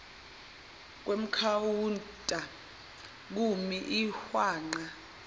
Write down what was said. kwekhawunta kumi ihwanqa